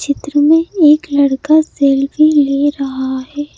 चित्र में एक लड़का सेल्फी ले रहा है।